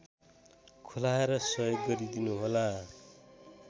खुलाएर सहयोग गरिदिनुहोला